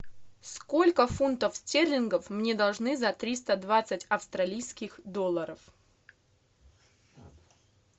сколько фунтов стерлингов мне должны за триста двадцать австралийских долларов